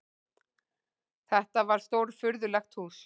Þetta var stórfurðulegt hús.